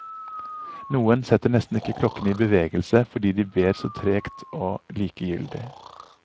Noen setter nesten ikke klokkene i bevegelse fordi de ber så tregt og likegyldig.